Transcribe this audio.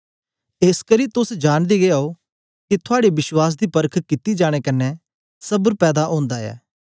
एसकरी तोस जानदे गै ओ के थुआड़े बश्वास दी परख कित्ती जाने कन्ने सबर पैदा ओंदी ऐ